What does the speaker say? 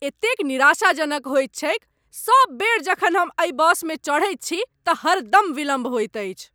एतेक निराशाजनक होइत छैक , सब बेर जखन हम एहि बसमे चढ़ैत छी तऽ हरदम विलम्ब होइत अछि।